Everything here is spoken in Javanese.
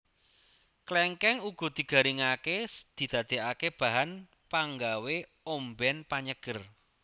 Klèngkèng uga digaringaké didadèkaké bahan panggawé ombèn panyeger